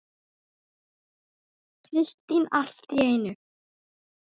Kristín allt í einu.